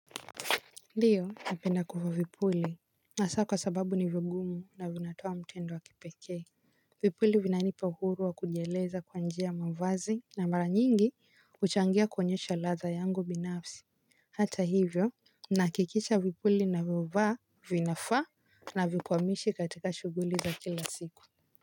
Ndiyo, napenda kufaa vipuli hasa kwa sababu ni vigumu na vinatoa mtindo wa kipekee. Vipuli vinanipa uhuru wa kujieleza kupitia mavazi na mara nyingi kuchangia kwenye ladha yangu binafsi. Hata hivyo, ninahakikisha vipuli ninavyofaa vinafaa. Na havikwamishi katika shughuli za kila siku.